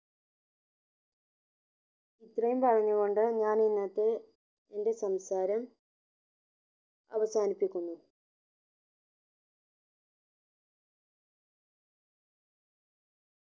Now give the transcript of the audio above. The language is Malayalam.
ഇത്രയും പറഞ്ഞു കൊണ്ട് ഞാൻ ഇന്നത്തെ എന്റെ സംസാരം അവസാനിപ്പിക്കുന്നു